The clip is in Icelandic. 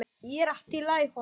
Gídeon, læstu útidyrunum.